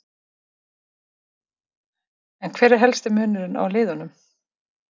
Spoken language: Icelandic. En hver er helsti munurinn á liðunum?